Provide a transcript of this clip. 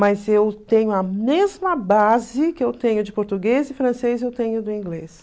Mas eu tenho a mesma base que eu tenho de português e francês, eu tenho do inglês.